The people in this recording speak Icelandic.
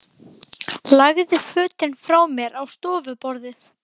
Lagði fötin frá mér á stofuborðið.